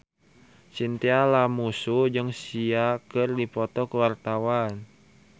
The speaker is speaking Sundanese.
Chintya Lamusu jeung Sia keur dipoto ku wartawan